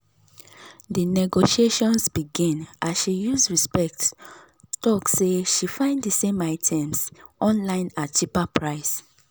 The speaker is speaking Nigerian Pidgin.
di negotiations begin as she use respect talk say she find d same items online at cheaper price.